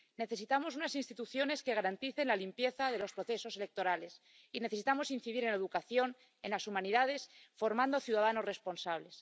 Necesitamos unas instituciones que garanticen la limpieza de los procesos electorales, y necesitamos incidir en la educación, en las humanidades, formando ciudadanos responsables.